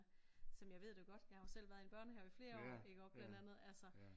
Så men jeg ved det jo godt jeg har jo selv været i en børnehave i flere år iggå blandt andet altså